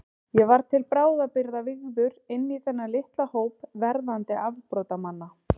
Ég var til bráðabirgða vígður inní þennan litla hóp verðandi afbrotamanna.